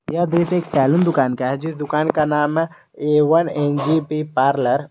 यह दृश्य एक सैलून दुकान का है जिस दुकान का नाम है A one N J B parlour --